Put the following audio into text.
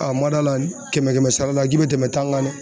n man d'a la kɛmɛ kɛmɛ sara la g'i bɛ tɛmɛ tan kan dɛ.